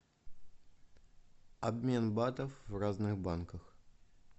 обмен батов в разных банках